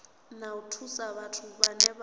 na u thusa vhathu vhane